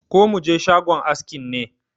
Ko mu je shagon askin ne?